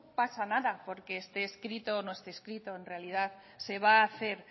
pasa nada porque esté escrito o no esté escrito en realidad se va a hacer